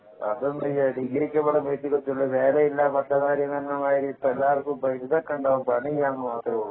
അത് എന്താ ഡിഗ്രിക്ക്‌ ഇവിടെ നേരമില്ല പറഞ്ഞ മാരി എല്ലാര്ക്കും ഡിഗ്രി ഒക്കെ ഉണ്ടാകും പണി ഇല്ലാന്ന് മാത്രമുള്ളൂ